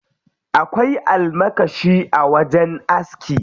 Akwai almakashi a wajen aski.